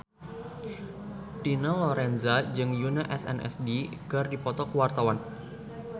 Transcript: Dina Lorenza jeung Yoona SNSD keur dipoto ku wartawan